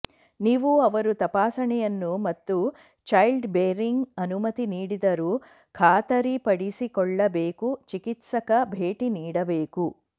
ನೀವು ಅವರು ತಪಾಸಣೆಯನ್ನು ಮತ್ತು ಚೈಲ್ಡ್ ಬೇರಿಂಗ್ ಅನುಮತಿ ನೀಡಿದರು ಖಾತರಿಪಡಿಸಿಕೊಳ್ಳಬೇಕು ಚಿಕಿತ್ಸಕ ಭೇಟಿ ನೀಡಬೇಕು